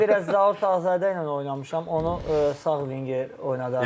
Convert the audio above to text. Mən biraz Zaur Tağızadə ilə oynamışam, onu sağ vinger oynadardım.